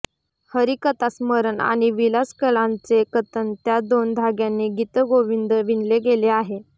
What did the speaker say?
हरिकथास्मरण आणि विलासकलांचे कथन त्या दोन धाग्यांनी गीतगोविंद विणले गेले आहे